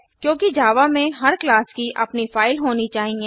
क्योंकि जावा में हर क्लास की अपनी फाइल होनी चाहिए